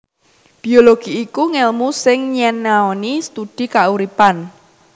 Biologi iku ngèlmu sing nyinaoni studi kauripan